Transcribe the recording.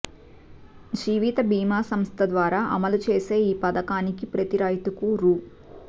జీవిత బీమా సంస్థ ద్వారా అమలు చేసే ఈ పథకానికి ప్రతీ రైతుకు రూ